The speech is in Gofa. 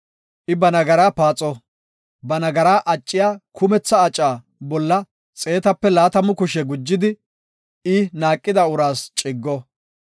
I ba nagara paaxo; ba nagara acciya kumetha aca bolla xeetape laatamu kushe gujidi I naaqida uraas ciggo.